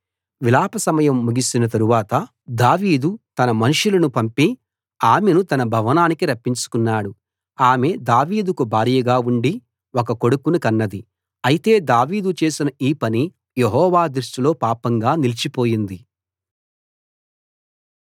విలాప సమయం ముగిసిన తరువాత దావీదు తన మనుషులను పంపి ఆమెను తన భవనానికి రప్పించుకున్నాడు ఆమె దావీదుకు భార్యగా ఉండి ఒక కొడుకును కన్నది అయితే దావీదు చేసిన ఈ పని యెహోవా దృష్టిలో పాపంగా నిలిచిపోయింది